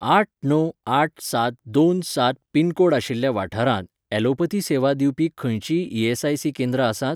आठ णव आठ सात दोन सात पिनकोड आशिल्ल्या वाठारांत, ॲलोपथी सेवा दिवपी खंयचींय ईएसआयसी केंद्रां आसात?